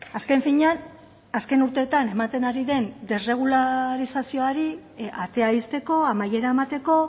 azken finean azken urteetan ematen ari den desregularizazioari atea ixteko amaiera emateko